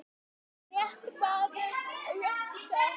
réttur maður á réttum stað.